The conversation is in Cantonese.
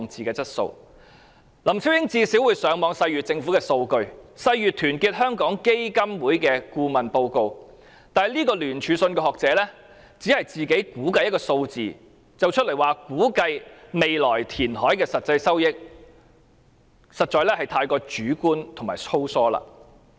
林超英最低限度會上網細閱政府的數據及團結香港基金的顧問報告，但聯署信的學者只是自行估計一個數字作為未來填海的實際收益，實在過於主觀和粗疏。